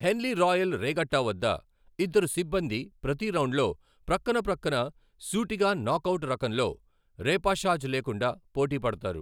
హెన్లీ Royal Regatta వద్ద, ఇద్దరు సిబ్బంది ప్రతి రౌండ్లో ప్రక్కన ప్రక్కన, సూటిగా నాక్ అవుట్ రకంలో, రేపాషాజ్ లేకుండా, పోటీ పడతారు,